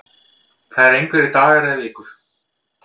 Það eru einhverjir dagar eða vikur